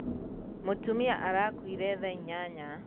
Mũtumia arakuire thaa inyanya.